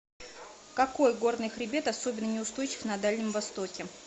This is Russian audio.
какой горный хребет особенно неустойчив на дальнем востоке